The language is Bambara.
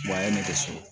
a ye ne sɔrɔ